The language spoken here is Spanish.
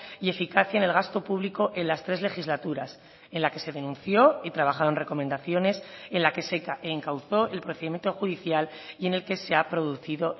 y eficacia en el gasto público en las tres legislaturas en la que se denunció y trabajaron recomendaciones en la que se encauzó el procedimiento judicial y en el que se ha producido